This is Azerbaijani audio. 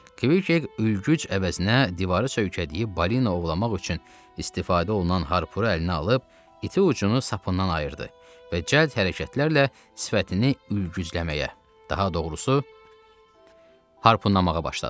Kvik ülgüc əvəzinə divarı sökəcək balina ovlamaq üçün istifadə olunan harpunu əlinə alıb iti ucunu sapından ayırdı və cəld hərəkətlərlə sifətini ülgücləməyə, daha doğrusu, harpunlamağa başladı.